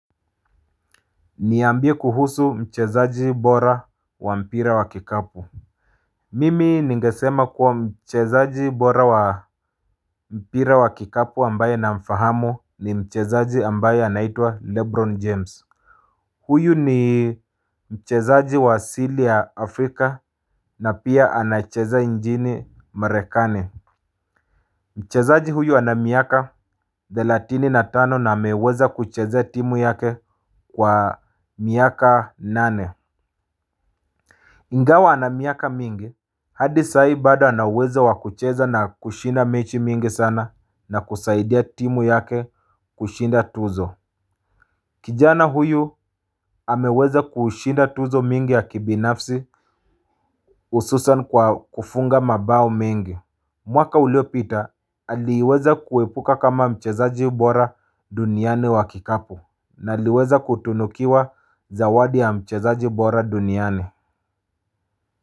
Niambie kuhusu mchezaji bora wa mpira wa kikapu mimi ningesema kuwa mchezaji bora wa mpira wa kikapu ambaye namfahamu ni mchezaji ambaye anaitwa lebron james. Huyu ni mchezaji wa asili ya Afrika na pia anacheza njini marekane. Mchezaji huyu ana miaka thelatini na tano na ameweza kuchezea timu yake kwa miaka nane ingao ana miaka mingi, hadi sai bado ana uwezo wa kucheza na kushinda mechi mingi sana na kusaidia timu yake kushinda tuzo. Kijana huyu ameweza kushinda tuzo mingi ya kibinafsi ususan kwa kufunga mabao mingi. Mwaka uliopita aliweza kuepuka kama mchezaji bora duniani wa kikapu. Na aliweza kutunukiwa zawadi ya mchezaji bora duniani.